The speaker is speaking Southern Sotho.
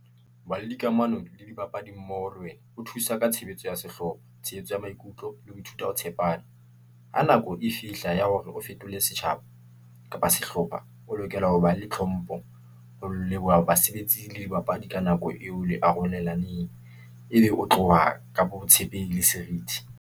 Ho ba le dikamano le dibapadi mmoho le wena, ho thusa ka tshebetso ya sehloho, tshehetso ya maikutlo le ho ithuta ho tshepana. Ha nako e fihla ya hore o fetole setjhaba, kapa sehlopha, o lokela ho ba le tlhompho ho leboha basebetsi le dibapadi ka nako eo le arolelaneng. E be o tloha ka botshepehi le serithi.